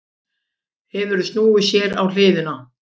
Hefur snúið sér á hliðina.